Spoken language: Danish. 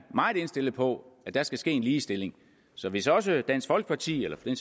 meget indstillet på at der skal ske en ligestilling så hvis også dansk folkeparti eller for den